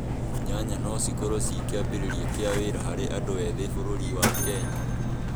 Nyanya no cikorũo ciĩ kĩambĩrĩria kĩa wĩra harĩ andũ ethĩ bururi-inĩ wa Kenya